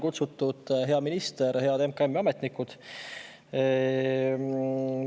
Kutsutud olid hea minister ja head MKM‑i ametnikud.